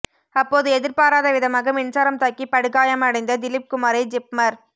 அப்போது எதிர்பாராத விதமாக மின்சாரம் தாக்கி படுகாயமடைந்த திலீப்குமாரை ஜிப்மர்